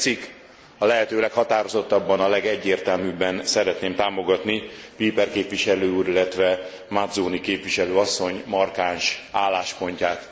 Ha tetszik a lehető leghatározottabban, a legegyértelműbben szeretném támogatni Olbrycht képviselő úr, illetve Mazzoni képviselő asszony markáns álláspontját.